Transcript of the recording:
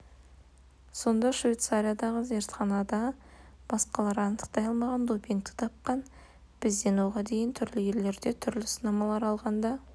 сонда швейцариядағы зертханада басқалар анықтай алмаған допингті тапқан бізден оған дейін түрлі елдерде түрлі сынамалар алғанда